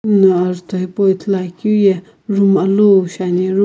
ninguno ajutho hipau ithuluakeuye room alou shi ani.